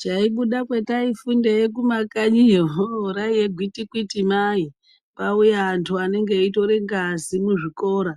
Chaibuda kwataifundeyo kumakanyi iyo ohoo raive gwitikiti mai kwauya vandu vanenge veyitore ngazi muzvikora